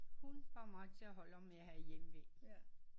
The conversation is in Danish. Hun får mig til at holde om at jeg har hjemve